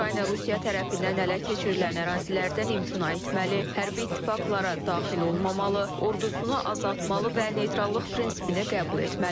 Ukrayna Rusiya tərəfindən ələ keçirilən ərazilərdən imtina etməli, hərbi ittifaqlara daxil olmamalı, ordusunu azaltmalı və neytrallıq prinsipini qəbul etməlidir.